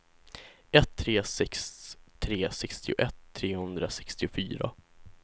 ett tre sex tre sextioett trehundrasextiofyra